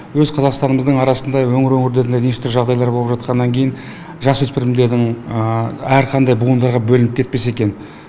өз қазақстанымыздың арасында өңір өңірлерде неше түрлі жағдайлар болып жатқаннан кейін жасөспірімдердің әрқандай буындарға бөлініп кетпесе екен